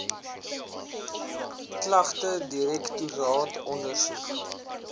klagte direktoraat ondersoek